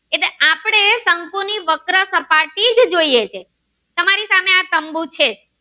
બીજું સુ જોઈએ છે તમારી સામે આ તંબુ છે